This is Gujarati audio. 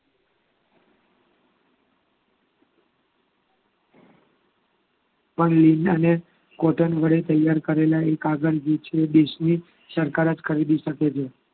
કોટન વડે તૈયાર કરેલા એક આગળ જે તે દેશની સરકાર જ કરી શકે છે.